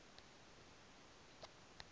ramabotha